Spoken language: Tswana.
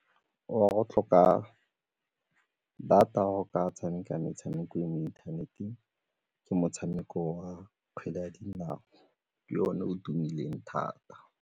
Wa go tlhoka data go ka tshameka metshameko ya mo inthaneteng ke motshameko wa kgwele ya dinao ke one o tumileng thata.